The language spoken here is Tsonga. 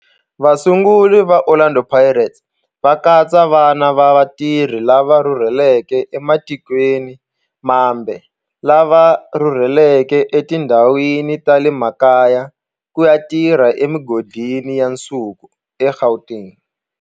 Vasunguri va Orlando Pirates va katsa vana va vatirhi lava rhurhelaka ematikweni mambe lava rhurheleke etindhawini ta le makaya ku ya tirha emigodini ya nsuku eGauteng.